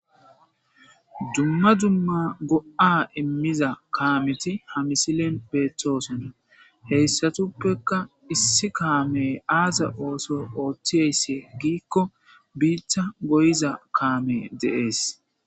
dumma dumma go7a immiza kaameti ha misilen beethtoosonna heyssatuppekka issi kaamey aasa ooso ooththieysse giikko biitha goyiza kaame deees